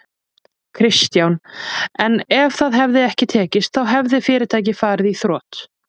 Kristján: En ef það hefði ekki tekist þá hefði fyrirtækið farið í þrot?